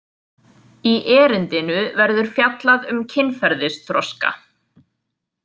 Í erindinu verður fjallað um kynferðisþroska.